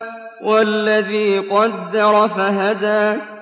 وَالَّذِي قَدَّرَ فَهَدَىٰ